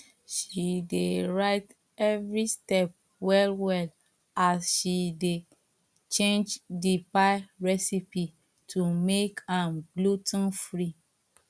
she dey write every step well well as she dey change the pie recipe to make am glu ten free